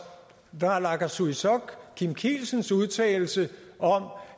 naalakkersuisuts og kim kielsens udtalelse om